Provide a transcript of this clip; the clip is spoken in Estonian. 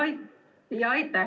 Aitäh!